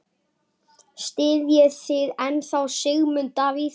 Styðjið þið ennþá Sigmund Davíð?